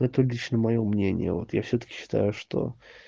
это лично моё мнение вот я всё-таки считаю что